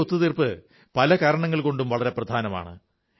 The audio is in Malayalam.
ഈ ഒത്തു തീർപ്പ് പല കാരണങ്ങൾകൊണ്ടും വളരെ പ്രധാനമാണ്